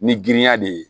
Ni girinya de ye